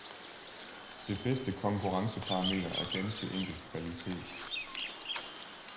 Det bedste konkurrenceparameter er ganske enkelt kvalitet.